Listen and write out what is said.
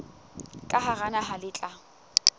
ka hara naha le tla